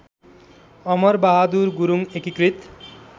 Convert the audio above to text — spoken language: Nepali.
अमरबहादुर गुरुङ एकीकृत